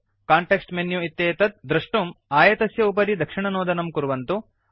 context menu इत्येतत् द्रष्टुम् आयतस्य उपरि दक्षिणनोदनं कुर्वन्तु